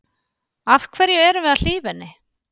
Af hverju erum við að hlífa henni?